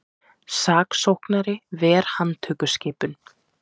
Saksóknari ver handtökuskipun